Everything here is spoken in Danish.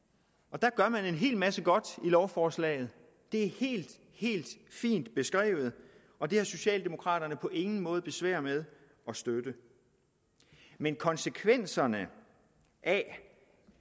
der gør man en hel masse godt i lovforslaget det er helt fint beskrevet og det har socialdemokraterne på ingen måde besvær med at støtte men konsekvenserne af